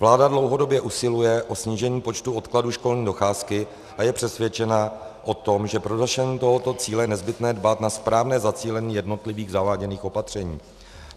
Vláda dlouhodobě usiluje o snížení počtu odkladů školní docházky a je přesvědčena o tom, že pro dosažení tohoto cíle je nezbytné dbát na správné zacílení jednotlivých zaváděných opatření.